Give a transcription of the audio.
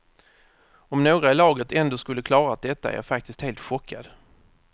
Om några i laget ändå skulle klarat detta är jag faktiskt helt chockad.